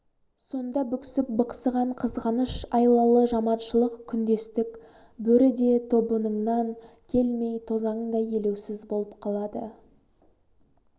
сонда бүксіп бықсыған қызғаныш айлалы жаманшылық күндестік бөрі де тобыныңнан келмей тозандай елеусіз болып қалады